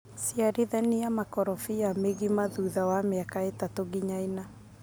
Ciarithania makorobia mĩgima thutha wa miaka ĩtatũ nginya ĩna.